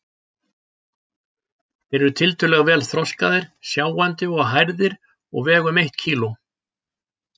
Þeir eru tiltölulega vel þroskaðir, sjáandi og hærðir og vega um eitt kíló.